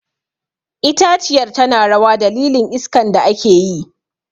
Itaciyar tana rawa a dalilin iskan da ake yi.